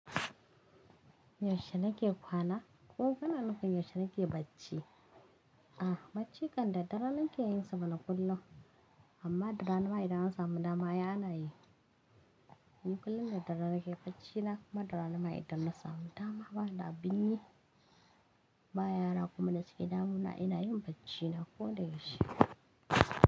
Yaushe nake kwana ko kuna nufin yaushe nake bacci? A, bacci kan daddare nake yin sa mana kullum amma da rana mai idan an sama dama ai ana yi. Ni kullum da daddare nake bacci na amma da rana ma idan samu dama ba nida abinyi. Ba yara kuma na suke damuna ina yin bacci na ko da yaushe.